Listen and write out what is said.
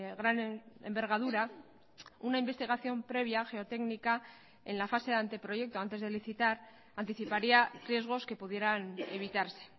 gran envergadura una investigación previa geotécnica en la fase de anteproyecto antes de licitar anticiparía riesgos que pudieran evitarse